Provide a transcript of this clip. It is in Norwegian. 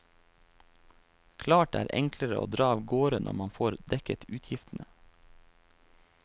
Klart det er enklere å dra av gårde når man får dekket utgiftene.